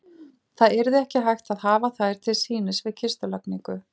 Það yrði ekki hægt að hafa þær til sýnis við kistulagningu.